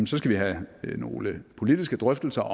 skal vi have nogle politiske drøftelser